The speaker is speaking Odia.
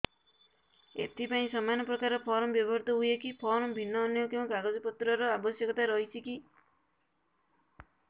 ଏଥିପାଇଁ ସମାନପ୍ରକାର ଫର୍ମ ବ୍ୟବହୃତ ହୂଏକି ଫର୍ମ ଭିନ୍ନ ଅନ୍ୟ କେଉଁ କାଗଜପତ୍ରର ଆବଶ୍ୟକତା ରହିଛିକି